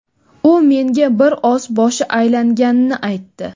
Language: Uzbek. U menga bir oz boshi aylanganini aytdi.